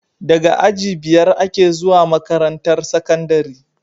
Daga aji biyar ake zuwa makarantar sakandari